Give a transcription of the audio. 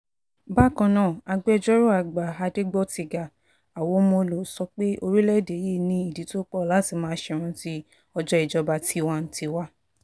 bákan náà agbẹjọ́rò àgbà adégbòtiga awomolo sọ pé orílẹ̀‐èdè yìí ní ìdí tó pọ̀ láti máa ṣèrántí ọjọ́ ìjọba tiwa-n-tiwa